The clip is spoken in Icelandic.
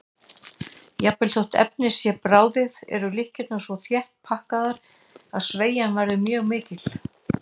Jafnvel þótt efnið sé bráðið eru keðjurnar svo þétt pakkaðar að seigjan verður mjög mikil.